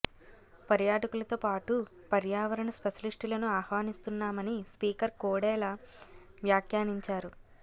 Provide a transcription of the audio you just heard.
పర్యాటకులతో పాటు పర్యావరణ స్పెషలిస్టులను ఆహ్వనిస్తున్నామని స్పీకర్ కోడెల వ్యాఖ్యానించారు